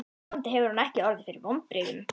Vonandi hefur hún ekki orðið fyrir vonbrigðum.